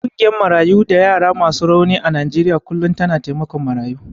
Ƙungiyar Marayu da yara masu rauni a Najeriya kullum tana taimakon marayu.